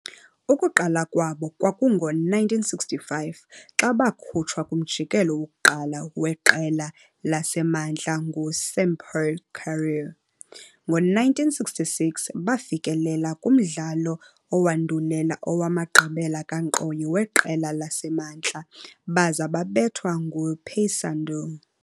Ukuqala kwabo kwakungo-1965 xa bakhutshwa kumjikelo wokuqala weQela laseMantla nguSampaio Corrêa. Ngo-1966, bafikelela kumdlalo owandulela owamagqibela kankqoyi weQela laseMntla baza babethwa nguPaysandu.